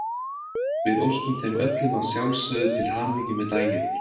Við óskum þeim öllum að sjálfsögðu til hamingju með daginn.